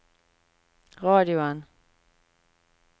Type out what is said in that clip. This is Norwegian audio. radioen